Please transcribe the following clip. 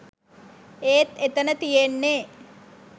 ඒත් එතන තියෙන්නේ